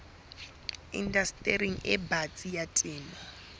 indastering e batsi ya temo